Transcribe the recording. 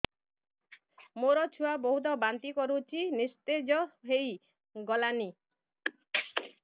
ମୋ ଛୁଆ ବହୁତ୍ ବାନ୍ତି କରୁଛି ନିସ୍ତେଜ ହେଇ ଗଲାନି